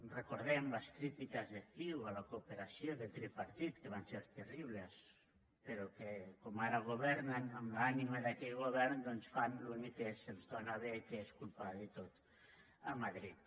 recordem les crítiques de ciu a la cooperació del tripartit que van ser terribles però que com que ara governen amb l’ànima d’aquell govern doncs fan l’únic que se’ls dóna bé que és culpar de tot madrid